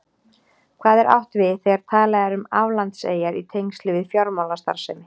Hvað er átt við þegar talað er um aflandseyjar í tengslum við fjármálastarfsemi?